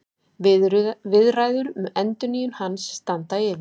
Viðræður um endurnýjun hans standa yfir